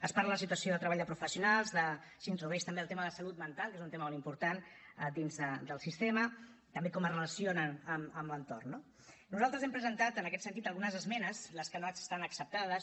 es parla de situació de treball de professionals s’introdueix també el tema de la salut mental que és un tema molt important dins del sistema també com es relacionen amb l’entorn no nosaltres hem presentat en aquest sentit algunes esmenes les que no estan acceptades